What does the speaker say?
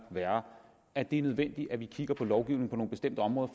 værre er det nødvendigt at vi kigger på lovgivningen på nogle bestemte områder